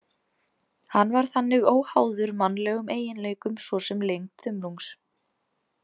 Hann var þannig óháður mannlegum eiginleikum svo sem lengd þumlungs.